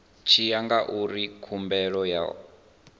tshi ya ngauri khumbelo yo